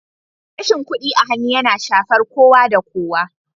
Rashin kuɗi a hannu yana shafar kowa da kowa